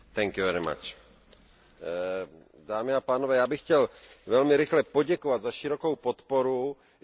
Já bych chtěl velmi rychle poděkovat za širokou podporu i za spolupráci pracovníkům jak Komise, tak i Rady.